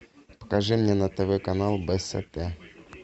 покажи мне на тв канал бст